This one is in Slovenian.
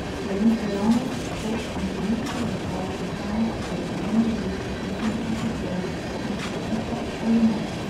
Slovensko javnost, šport in politiko razdvaja vprašanje, ali ponovno dovoliti točenje alkohola na športnih prireditvah ali ne.